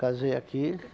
Casei aqui.